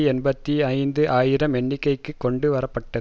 எண்பத்தி ஐந்து ஆயிரம் எண்ணிக்கைக்கு கொண்டு வரப்பட்டது